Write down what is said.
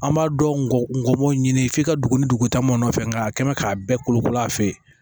An b'a dɔn ngɔmminw ɲini f'i ka dugu ni dugu ta mɔnfɛ nka a kɛ mɛ k'a bɛɛ kolo kolo a fɛ yen